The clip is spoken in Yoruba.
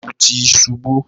Laabu ti ṣubu,